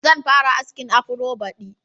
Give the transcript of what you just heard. Zan fara askin afro baɗi.